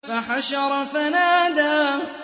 فَحَشَرَ فَنَادَىٰ